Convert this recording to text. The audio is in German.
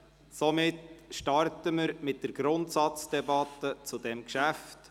Somit starten wir mit der Grundsatzdebatte zu diesem Geschäft.